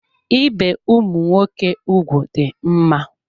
Ibe ụmụ nwoke ụgwụ dị mma.